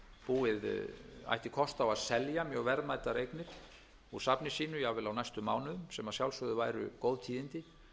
búið ætti kost á að selja mjög verðmætar eignir úr safni sínu jafnvel á næstu mánuðum sem að sjálfsögðu væru góð tíðindi